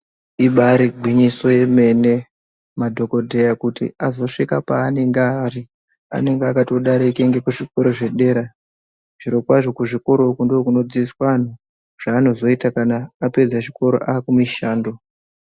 Ibari gwinyiso yemene madhokodheya kuti azosvika paanenge aari, anenge akatodarike ngekuzvikoro zvedera. Zvirokwazvo kuzvikoro uku ndokunodzidziswa anhu zvaanozoita kana apedza chikoro akumishando.